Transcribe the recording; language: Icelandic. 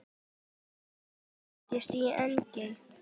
Hann fæddist í Engey.